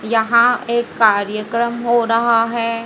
यहां एक कार्यकर्म हो रहा है।